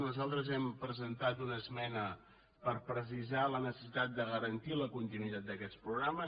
nosaltres hem presentat una esmena per precisar la necessitat de garantir la continuïtat d’aquests programes